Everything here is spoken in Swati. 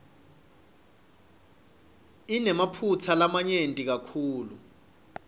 inemaphutsa lamanyenti kakhulu